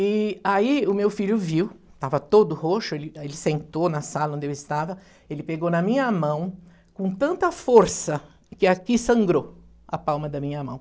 E aí o meu filho viu, estava todo roxo, ele sentou na sala onde eu estava, ele pegou na minha mão, com tanta força, que aqui sangrou a palma da minha mão.